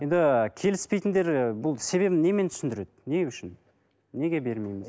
енді келіспейтіндер бұл себебін немен түсіндіреді не үшін неге бермейміз